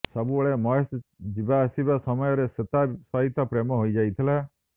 ସବୁବେଳେ ମହେଶ ଯିବାଆସିବା ସମୟରେ ଶ୍ବେତା ସହିତ ପ୍ରେମ ହୋଇଯାଇଥିଲା